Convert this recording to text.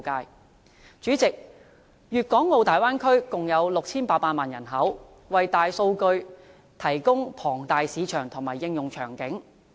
代理主席，粵港澳大灣區共有 6,800 萬人口，為大數據提供龐大市場及應用場景。